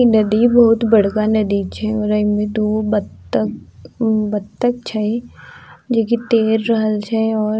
इ नदी बहुत बड़का नदी छे और इमे दूगो बत्तख बत्तख छे जो की तैर रहल छे और --